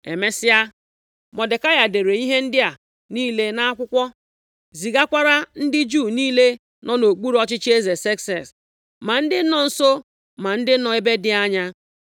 Emesịa, Mọdekai dere ihe ndị a niile nʼakwụkwọ, zigakwara ndị Juu niile nọ nʼokpuru ọchịchị eze Sekses, ma ndị nọ nso ma ndị nọ nʼebe dị anya,